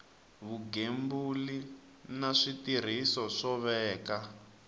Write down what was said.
vugembuli na switirhiso ku veka